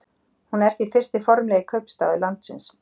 Hún er því fyrsti formlegi kaupstaður landsins.